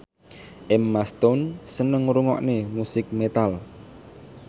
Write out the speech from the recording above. Emma Stone seneng ngrungokne musik metal